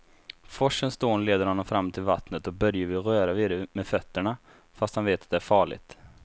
Forsens dån leder honom fram till vattnet och Börje vill röra vid det med fötterna, fast han vet att det är farligt.